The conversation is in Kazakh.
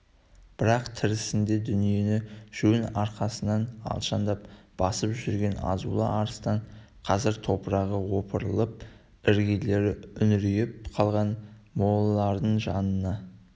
бірақ тірісінде дүниені жон арқасынан алшаңдап басып жүрген азулы арыстан қазір топырағы опырылып іргелері үңірейіп қалған молалардың жанына